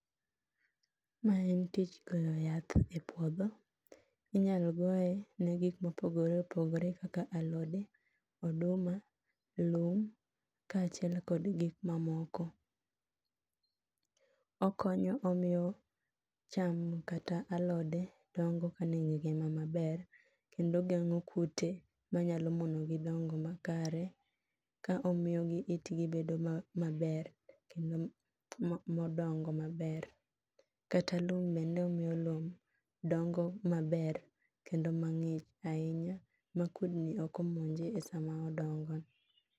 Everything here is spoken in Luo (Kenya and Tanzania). Mae en tich goyo yath epuodho inyalo goye ne gik mopogore opogore kaka alode, oduma, lum ka achiel kod gik mamoko. Okonyo omiyo cham kata alode dongo ka nigi ngima maber kendo geng'o kute manyalo mono gi dongo makare ka omiyo itgi bedo maber kendo modongo maber. Kata lum bende omiyo lum dongo maber kendo mang'ich ahinya ma kudni ok omonje e sama odongo.